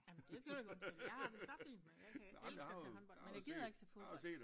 Ah men det skal du ikke undskylde jeg har det så fint med jeg kan elsker at se håndbold men jeg gider ikke se fodbold